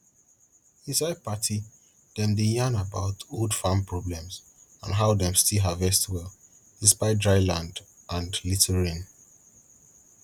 inside party dem dey yarn about old farm problems and how dem still harvest well despite dry land and little rain